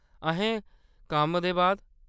अहें, कम्मै दे बाद ?